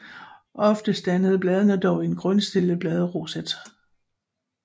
Oftest danner bladene dog en grundstillet bladroset